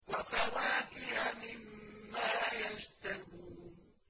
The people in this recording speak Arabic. وَفَوَاكِهَ مِمَّا يَشْتَهُونَ